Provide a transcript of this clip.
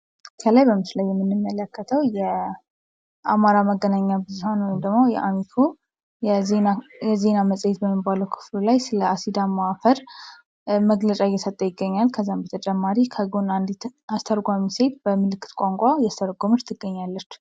ከላይ በምስሉ ላይ የምንመለከተው የአማራ መገናኛ ብዙሀን ወይም ደግሞ የአሚኮ የዜና መፅሔት በሚባለው የዜና ክፍሉ ላይ ስለ አሲዳማ አፈር መግለጫ እየሰጠ ይገኛል። ከዚያ በተጨማሪ በጎን አንዲት ሴት በምልክት ቋንቋ እያስተረጎመች ትገኛለች።